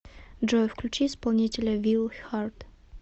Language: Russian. джой включи исполнителя вилл хард